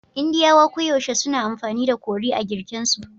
Indiyawa koyaushe suna amfani da curry a girken su